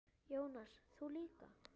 Jónas: Þú líka?